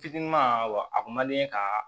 Fitinin wa a kun man di n ye kaa